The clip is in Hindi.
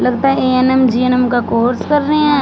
लगता है ए_एन_एम जी_एन_एम का कोर्स कर रहें हैं।